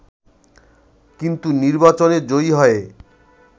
কিন্তু নির্বাচনে জয়ী হয়ে